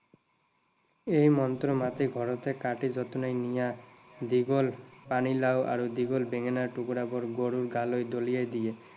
এই মন্ত্ৰ মাতি ঘৰতেই কাটি যতনাই নিয়া দীঘল পানীলাও আৰু দীঘল বেঙেনাৰ টুকুৰা বোৰ গৰুৰ গালৈ দলিয়াই দিয়ে।